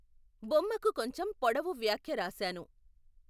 బొమ్మకు కొంచెం పొడవు వ్యాఖ్య రాశాను.